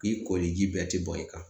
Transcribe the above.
K'i koliji bɛɛ ti bɔn i kan .